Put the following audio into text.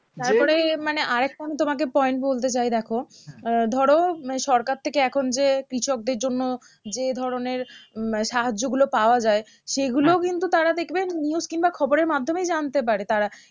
তারপরে মানে আরেকটা আমি তোমাকে point বলতে চাই দেখো আহ ধরো সরকার থেকে এখন যে কৃষকদের জন্য যে ধরণের উম মানে সাহায্যগুলো পাওয়া যাই সেগুলোও কিন্তু তারা দেখবে news কিংবা খবরের মাধ্যমে জানতে পারে তারা